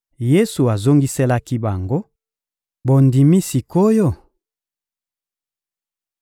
Yesu azongiselaki bango: — Bondimi sik’oyo?